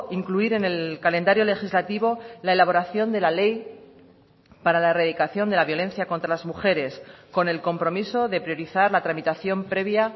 incluir en el calendario legislativo la elaboración de la ley para la erradicación de la violencia contra las mujeres con el compromiso de priorizar la tramitación previa